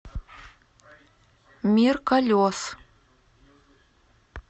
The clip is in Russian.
мир колес